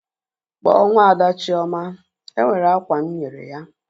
Kpọọ nwaada Chioma! E nwere akwa m nyere ya.